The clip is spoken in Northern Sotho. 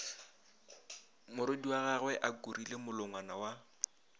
morwediagwe a kurile molongwana wa